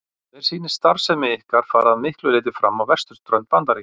Mér sýnist starfsemi ykkar fara að miklu leyti fram á vesturströnd Bandaríkjanna.